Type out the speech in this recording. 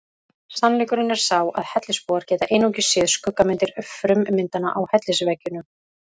Sannleikurinn er sá að hellisbúar geta einungis séð skuggamyndir frummyndanna á hellisveggjunum.